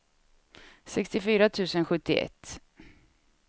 sextiofyra tusen sjuttioett